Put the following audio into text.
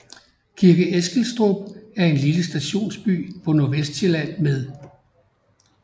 Kirke Eskilstrup er en lille stationsby på Nordvestsjælland med